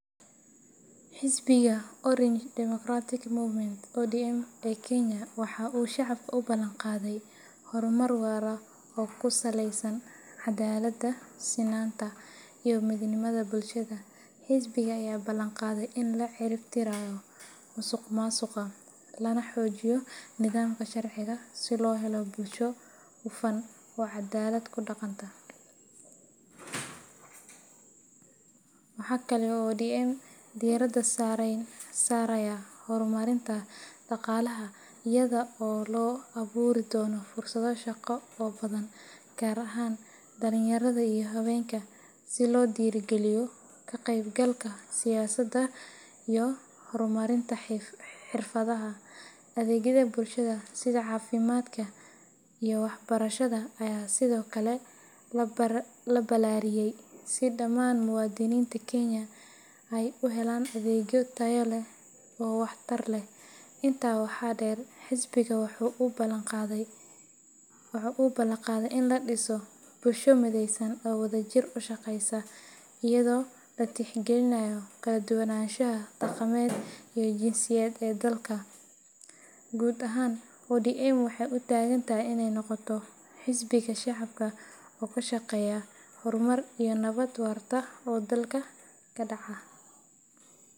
Xisbiga Orange Democratic Movement ODM ee Kenya waxa uu shacabka u balanqaaday horumar waara oo ku saleysan cadaaladda, sinaanta, iyo midnimada bulshada. Xisbiga ayaa ballan qaaday in la cirib tirayo musuqmaasuqa, lana xoojiyo nidaamka sharciga si loo helo bulsho hufan oo cadaalad ku dhaqanta. Waxa kale oo ODM diiradda saarayaa horumarinta dhaqaalaha iyada oo la abuuri doono fursado shaqo oo badan, gaar ahaan dhalinyarada iyo haweenka, si loo dhiirrigeliyo ka qaybgalka siyaasadda iyo horumarinta xirfadaha. Adeegyada bulshada sida caafimaadka iyo waxbarashada ayaa sidoo kale la ballaariyay, si dhammaan muwaadiniinta Kenya ay u helaan adeegyo tayo leh oo wax tar leh. Intaa waxaa dheer, xisbiga waxa uu ku baaqayaa in la dhiso bulsho mideysan oo wadajir u shaqeysa, iyadoo la tixgelinayo kala duwanaanshaha dhaqameed iyo jinsiyadeed ee dalka. Guud ahaan, ODM waxay u taagan tahay in ay noqoto xisbiga shacabka oo ka shaqeeya horumar iyo nabad waarta oo dalka ka dhaca.